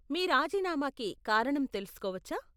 మీ రాజీనామాకి కారణం తెలుసుకోవచ్చా ?